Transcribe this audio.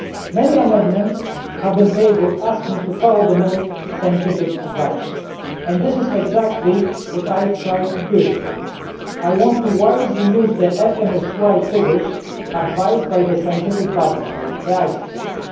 Many amendments have been tabled asking to follow the most scientific advice and this is exactly what I try to do. I want to use the FMSY figures advised by the scientific body, ICES, wisely.